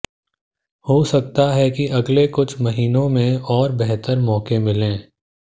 हो सकता है कि अगले कुछ महीनों में और बेहतर मौके मिलें